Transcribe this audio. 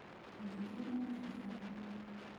Andũ aingĩ nĩ moimire kĩhaaro-inĩ.